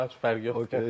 Nə fərqi yoxdur.